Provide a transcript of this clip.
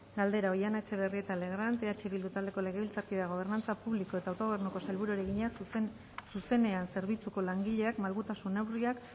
galdera oihana etxebarrieta legrand eh bildu taldeko legebiltzarkideak gobernantza publiko eta autogobernuko sailburuari egina zuzenean zerbitzuko langileek malgutasun neurriak